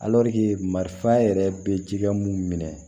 marifa yɛrɛ be cikɛ mun minɛ